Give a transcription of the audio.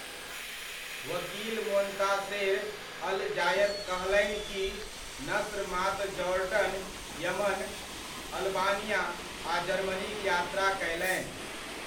वकील Montaser al Zayat कहलनि कि नस्र मात्र जॉर्डन, यमन, अल्बानिया आ जर्मनीक यात्रा कयलनि।